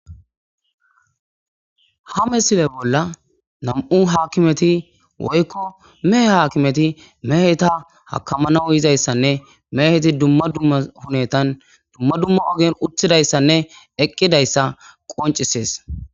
ha misile bolla nam7u hakimeti woykko mehe haakimeti meheta hakamanawu yizayssanne meheti dumma dumma hunetan dumma dumma ogen uthidayssanne eqqidayssa qoncisees.